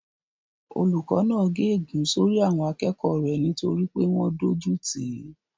Olùkó náà gé ègún sórí àwọn akẹ́kọ̀ọ́ rẹ̀ nítorí pé wọ́n dójú tìí